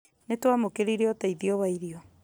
nĩtwamũkĩrire ũteithia wa irio